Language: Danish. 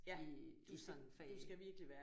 I i sådan et fag